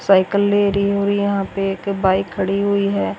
Cycle ले रही है और यहाँ पे एक बाइक खड़ी हुई है।